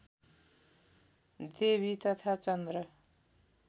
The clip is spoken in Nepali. देवी तथा चन्द्र